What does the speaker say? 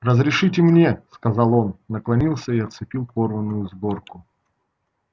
разрешите мне сказал он наклонился и отцепил порванную сборку